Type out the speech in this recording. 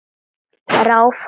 Ráfar inn.